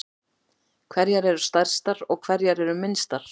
Hverjar eru stærstar og hverjar eru minnstar?